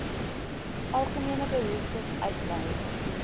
algemene behoeftes uitwys